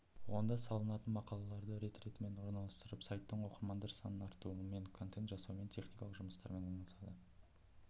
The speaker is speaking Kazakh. онда салынатын мақалаларды рет ретімен орналастырып сайттың оқырмандар санын арттырумен контент жасаумен техникалық жұмыстармен айналысады